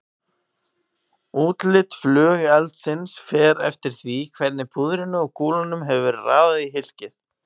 Útlit flugeldsins fer eftir því hvernig púðrinu og kúlunum hefur verið raðað í hylkið.